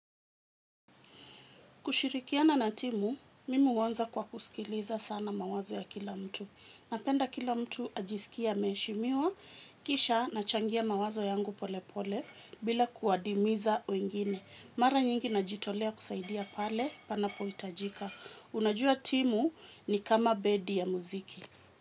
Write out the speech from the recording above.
Kushirikiana na timu, mimi huanza kwa kusikiliza sana mawazo ya kila mtu. Napenda kila mtu ajisikie ameheshimiwa, kisha nachangia mawazo yangu pole pole, bila kuadimiza wengine. Mara nyingi najitolea kusaidia pale, panapohitajika. Unajua timu ni kama bendi ya muziki.